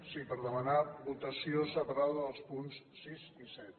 sí per demanar votació separada dels punts sis i set